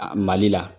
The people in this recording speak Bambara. Mali la